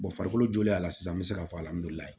farikolo jolenya la sisan an bɛ se k'a fɔ alihamdulilahi